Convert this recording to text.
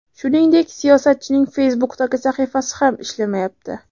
Shuningdek, siyosatchining Facebook’dagi sahifasi ham ishlamayapti.